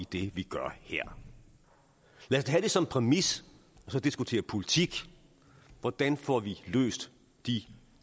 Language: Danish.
det vi gør her lad os tage det som præmis og så diskutere politik hvordan får vi løst de